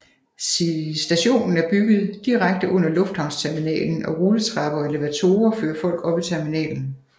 Stationen er bygget direkte under lufthavnsterminalen og rulletrapper og elevatorer fører folk op i terminalen